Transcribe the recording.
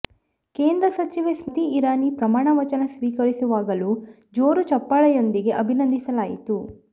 ಕೇಂದ್ರ ಸಚಿವೆ ಸ್ಮತಿ ಇರಾನಿ ಪ್ರಮಾಣ ವಚನ ಸ್ವೀಕರಿಸುವಾಗಲೂ ಜೋರು ಚಪ್ಪಾಳೆಯೊಂದಿಗೆ ಅಭಿನಂದಿಸಲಾಯಿತು